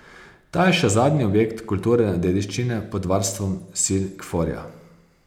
Ta je še zadnji objekt kulturne dediščine pod varstvom sil Kforja.